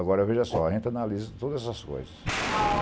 Agora, veja só, a gente analisa todas essas coisas.